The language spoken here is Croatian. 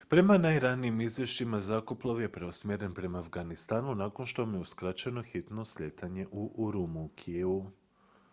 prema najranijim izvješćima zrakoplov je preusmjeren prema afganistanu nakon što mu je uskraćeno hitno slijetanje u urumqiju